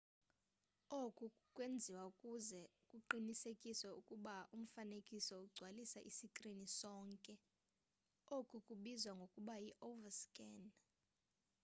oku kwenziwe ukuze kuqinisekiswe ukuba umfanekiso ugcwalisa isikrini sonke oku kubizwa ngokuba yi-overscan